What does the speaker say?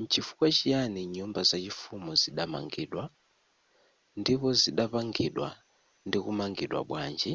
nchifukwa chiyani nyumba zachifumu zidamangidwa ndipo zidapangidwa ndikumangidwa bwanji